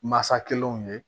Masa kelen ye